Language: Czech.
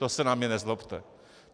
To se na mě nezlobte.